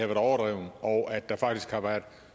været overdrevet og at der faktisk har været